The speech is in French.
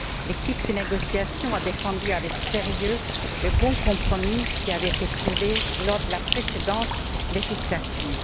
L'équipe de négociation a défendu avec sérieux le bon compromis qui avait été trouvé lors de la précédente législature.